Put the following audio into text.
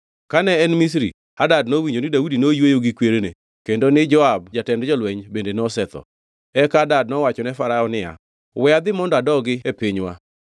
Kane ne en Misri, Hadad nowinjo ni Daudi noyweyo gi kwerene kendo ni Joab jatend jolweny bende nosetho. Eka Hadad nowachone Farao niya, “We adhi mondo adogi e pinywa.”